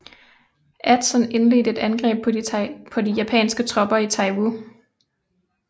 Edson indledte et angreb på de japanske tropper ved Taivu